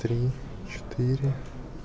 три четыре